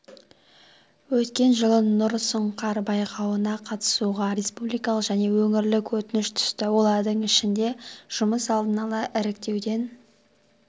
өткен жылы нұр сұңқар байқауына қатысуға республикалық және өңірлік өтініш түсті олардың ішінде жұмыс алдын-ала іріктеуден